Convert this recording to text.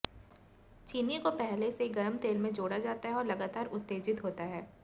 चीनी को पहले से गरम तेल में जोड़ा जाता है और लगातार उत्तेजित होता है